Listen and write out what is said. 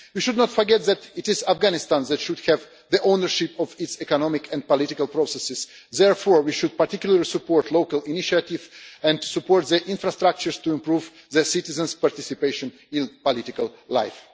We should not forget that it is Afghanistan that should have the ownership of its economic and political processes. Therefore we should particularly support local initiatives and support the infrastructures to improve its citizens' participation in political life.